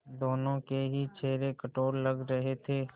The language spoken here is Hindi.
दोनों के ही चेहरे कठोर लग रहे थे